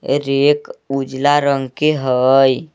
Rake उजला रंग के हई।